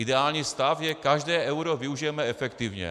Ideální stav je - každé euro využijeme efektivně.